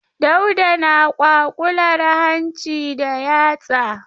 Dauda na kwaƙular hanci da yatsa.